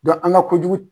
an ka kojugu